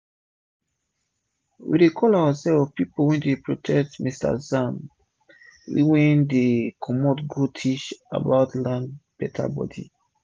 we dey call ourselves 'people wey dey protect san-san’' wen we dey comot go teach about land beta bodi